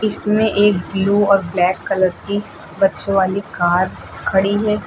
इसमें एक ब्लू या ब्लैक बच्चों वाली कार खड़ी है।